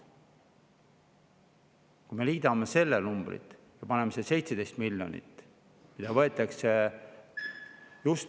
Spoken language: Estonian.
Kui me liidame selle numbri, 17 miljonit, mis võetakse just eakate käest …